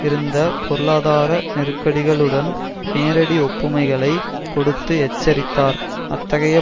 இருந்த பொருளாதார நெருக்கடிகளுடன் நேரடி ஒப்புமைகளை கொடுத்து எச்சரித்தார் அத்தகைய